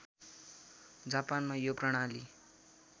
जापानमा यो प्रणाली